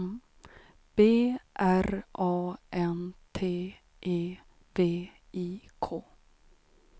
B R A N T E V I K